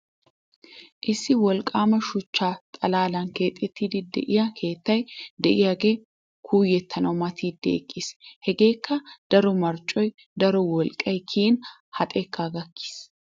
Issi wolqqaama shuchcha xalaalan keexettiiddi de'iya keettay de'iyagee kuuyettanawu matidi eqqiis. Hageekka daro marccoynne daro woqqay kiyin ha xekkaa gakkiis.